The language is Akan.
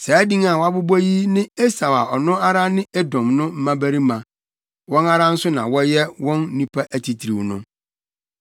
Saa din a wɔabobɔ yi ne Esau a ɔno ara ne Edom no mmabarima. Wɔn ara nso na wɔyɛ wɔn nnipa atitiriw no.